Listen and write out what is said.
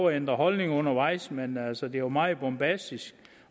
at ændre holdning undervejs men altså det var meget bombastisk